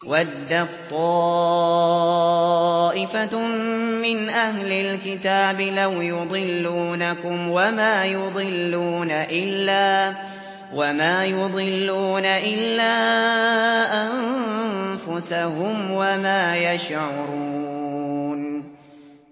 وَدَّت طَّائِفَةٌ مِّنْ أَهْلِ الْكِتَابِ لَوْ يُضِلُّونَكُمْ وَمَا يُضِلُّونَ إِلَّا أَنفُسَهُمْ وَمَا يَشْعُرُونَ